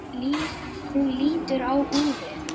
Hún lítur á úrið.